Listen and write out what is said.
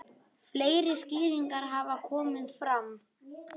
Fleiri skýringar hafa komið fram.